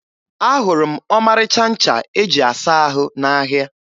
Ahụrụ m ọmarịcha ncha e ji asa ahụ n'ahịa.